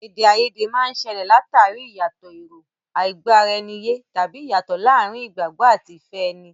Èdè àìyedè máa ń ṣẹlẹ̀ l'àtàrí ìyàtọ̀ èrò, àìgbọ́-ara-ẹni-yé, tàbí ìyàtọ̀ láàárín ìgbàgbọ́ àti ìfẹ́ ẹni.